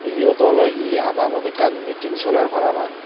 eyot oley hi adamot ekkan miting soler parapang.